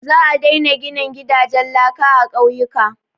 Za a daina ginin gidajen laka a ƙauyuka.